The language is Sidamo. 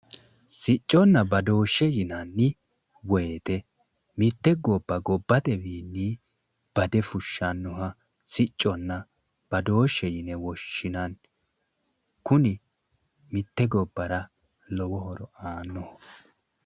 Sicconna badooshe yinanni woyte mitte gobba gobbatewiinni bade fushshannoha sicconna badooshe yine woshshinanni, kuni mitte gobbara lowo horo aanno.